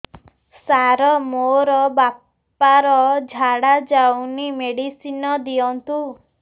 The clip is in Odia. ସାର ମୋର ବାପା ର ଝାଡା ଯାଉନି ମେଡିସିନ ଦିଅନ୍ତୁ